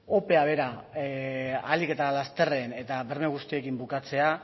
opea bera ahalik eta lasterren eta berme guztietan bukatzea